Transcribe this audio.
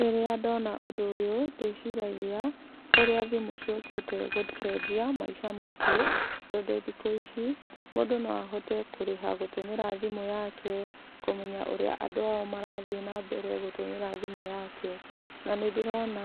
Rĩrĩa ndona ũndũ ũyũ, ndĩciragia ũrĩa thimũ ciũkĩte gũcenjia maica maitũ, tondũ thikũ ici, mũndũ no ahote kũrĩha gũtũmĩra thimũ yake, kũmenya ũrĩa andũ ao marathiĩ nambere gũmĩra thimũ yake, na nĩndĩrona